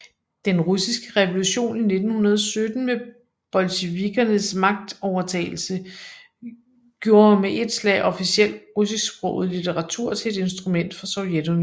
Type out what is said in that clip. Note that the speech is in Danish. Den russiske revolution i 1917 med bolsjevikernes magtovertagelse gjorde med et slag officiel russisksproget litteratur til et instrument for Sovjetunionen